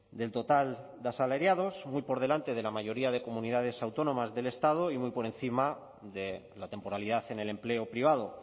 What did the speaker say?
del total de asalariados muy por delante de la mayoría de comunidades autónomas del estado y muy por encima de la temporalidad en el empleo privado